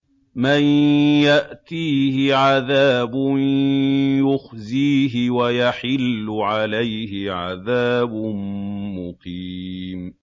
مَن يَأْتِيهِ عَذَابٌ يُخْزِيهِ وَيَحِلُّ عَلَيْهِ عَذَابٌ مُّقِيمٌ